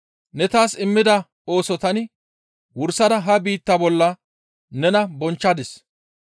Ne taas immida ooso tani wursada ha biittaa bolla nena bonchchadis.